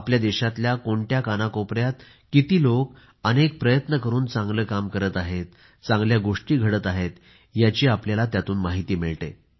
आपल्या देशातल्या कोणत्या कानाकोपऱ्यात किती लोकं अनेक प्रयत्न करून चांगले काम करत आहेत चांगल्या गोष्टी घडत आहेत याची आपल्याला माहिती मिळते